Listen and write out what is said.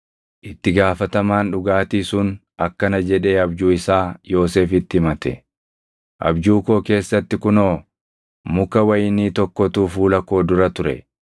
Itti gaafatamaan dhugaatii sun akkana jedhee abjuu isaa Yoosefitti himate; “Abjuu koo keessatti kunoo muka wayinii tokkotu fuula koo dura ture;